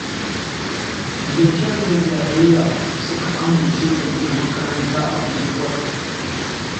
Da ƙyar da jayayya suka amince a gina makaranta a unguwar